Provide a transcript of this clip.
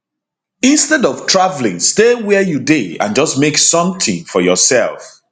instead of travelling stay wia you dey and just make somtin for yoursef